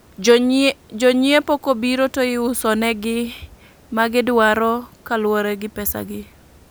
Jonyiepo kobiro to iusonegi gi ma gidwaro kolure gi pesa gi